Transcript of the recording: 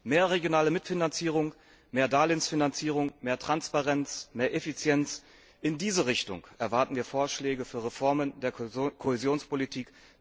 Mehr regionale Mitfinanzierung, mehr Darlehensfinanzierung, mehr Transparenz, mehr Effizienz, in diese Richtung erwarten wir Vorschläge für Reformen der Kohäsionspolitik.